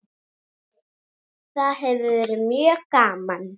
Það hefur verið mjög gaman.